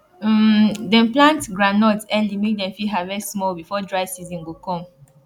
um dem plant groundnut early make dem fit harvest small before dry season go come